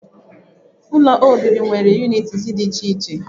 Ụlọ obibi nwere unịtịz dị iche iche.